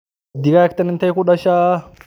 Digagtan inte kudasha?